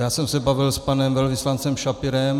Já jsem se bavil s panem velvyslancem Schapirem.